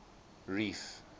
reef